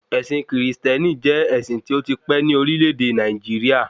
Ẹ̀sìn kìrìsìtẹ́nì jẹ́ ẹ̀sìn tí ó ti pẹ́ ní orílẹ̀-èdè Nàìjíríà